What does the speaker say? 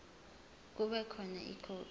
kube khona ikhophi